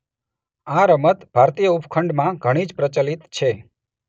આ રમત ભારતીય ઉપખંડમાં ઘણી જ પ્રચલિત છે.